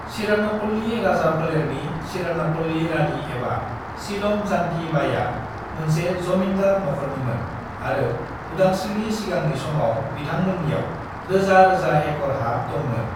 सिरानापल्ली राजाफोलेरनि सिरनापल्ली रानी एबा सीलम जानकी बाईया मोनसे जमीन्दार नखरनिमोन आरो उदांस्रीनि सिगांनि समाव बिथांमोन्नियाव रोजा-रोजा एकर हा दंमोन।